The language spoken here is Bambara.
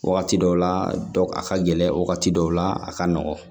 Wagati dɔw la a ka gɛlɛn wagati dɔw la a ka nɔgɔn